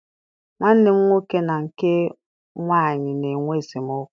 Nwanne m nwoke na nke nwaanyị na-enwe esemokwu.